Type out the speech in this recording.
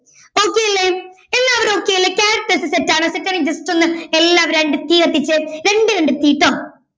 Okay അല്ലെ എല്ലാവരും okay അല്ലേ characters set ആണോ set ആണെങ്കിൽ just ഒന്ന് എല്ലാവരും രണ്ട് തീ കത്തിച്ചെ രണ്ടേ രണ്ട് തീ ട്ടൊ